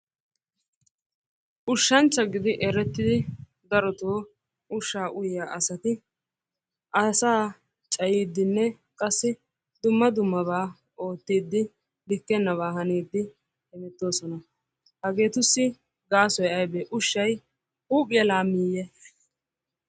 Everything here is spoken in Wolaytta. Ushshanchcha gidi merettidi darotoo ushshaa uyiya asati asaa cayiiddinne qassi dumma dummabaa oottiiddi likkennabaa kaniiddi hemettoosona. Haheetussi gaasoy ayibee? Ushshay huuphiya laammiiye?